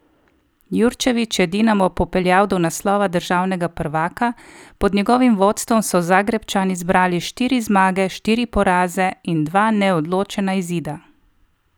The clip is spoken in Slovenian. Jurčević je Dinamo popeljal do naslova državnega prvaka, pod njegovim vodstvom so Zagrebčani zbrali štiri zmage, štiri poraze in dva neodločena izida.